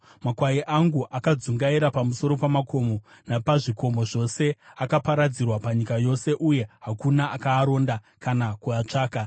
Makwai angu akadzungaira pamusoro pamakomo napazvikomo zvose. Akaparadzirwa panyika yose, uye hakuna akaaronda kana kuatsvaka.